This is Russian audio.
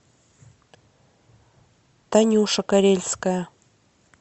танюша карельская